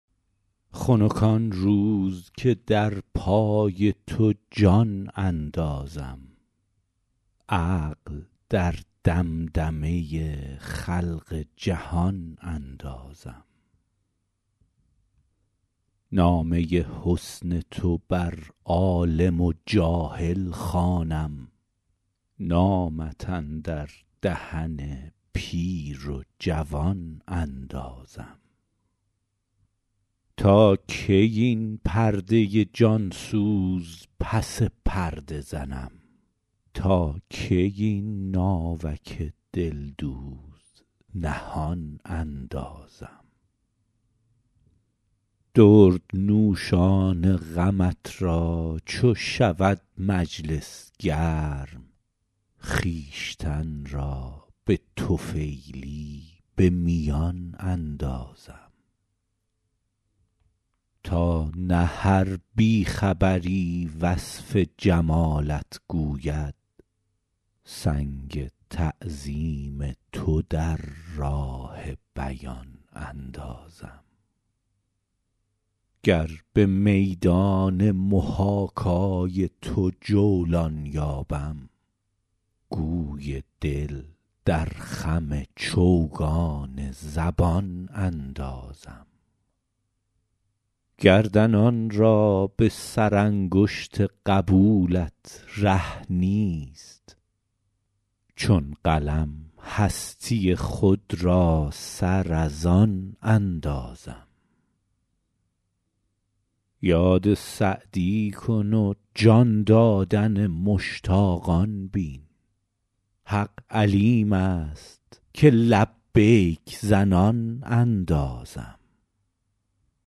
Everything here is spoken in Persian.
خنک آن روز که در پای تو جان اندازم عقل در دمدمه خلق جهان اندازم نامه حسن تو بر عالم و جاهل خوانم نامت اندر دهن پیر و جوان اندازم تا کی این پرده جان سوز پس پرده زنم تا کی این ناوک دلدوز نهان اندازم دردنوشان غمت را چو شود مجلس گرم خویشتن را به طفیلی به میان اندازم تا نه هر بی خبری وصف جمالت گوید سنگ تعظیم تو در راه بیان اندازم گر به میدان محاکای تو جولان یابم گوی دل در خم چوگان زبان اندازم گردنان را به سرانگشت قبولت ره نیست چون قلم هستی خود را سر از آن اندازم یاد سعدی کن و جان دادن مشتاقان بین حق علیم است که لبیک زنان اندازم